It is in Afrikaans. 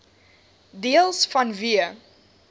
deels vanweë